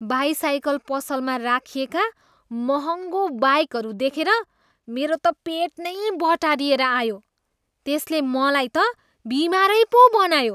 By cycle पसलमा राखिएका महँगो बाइकहरू देखेर मेरो त पेट नै बटारिएर आयो। त्यसले मलाई त बिमारै पो बनायो।